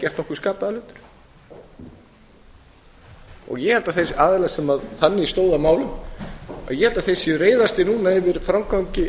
gerður nokkur skapaður hlutur og ég held að þeir aðilar sem þannig stóðu að málum séu reiðastir núna yfir framgangi